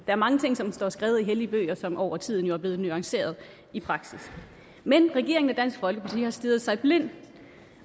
er mange ting som står skrevet i hellige bøger som jo over tiden er blevet nuanceret i praksis men regeringen og dansk folkeparti har stirret sig blind